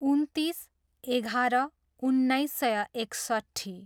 उन्तिस, एघार, उन्नाइस सय एकसट्ठी